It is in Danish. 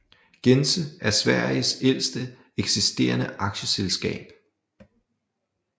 Gense er Sveriges ældste eksisterende aktieselskab